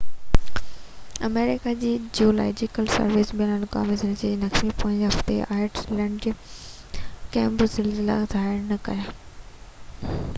آمريڪا جي geological survey بين الاقوامي زلزلي جي نقشي پوئين هفتي آئيس لينڊ ۾ ڪي بہ زلزلا ظاهر نہ ڪيا